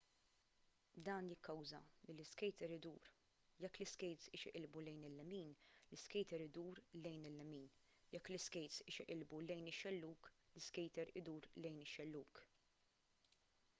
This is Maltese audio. dan jikkawża lill-iskejter idur jekk l-iskejts ixeqilbu lejn il-lemin l-iskejter idur lejn il-lemin jekk l-iskejts ixeqilbu lejn ix-xellug l-iskejter idur lejn il-xellug